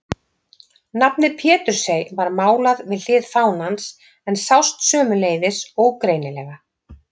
Nafnið Pétursey var málað við hlið fánans en sást sömuleiðis ógreinilega.